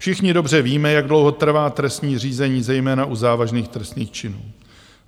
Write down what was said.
Všichni dobře víme, jak dlouho trvá trestní řízení zejména u závažných trestných činů.